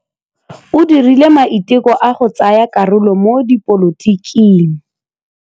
O dirile maitekô a go tsaya karolo mo dipolotiking.